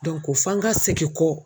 ko fo an ka segin kɔ.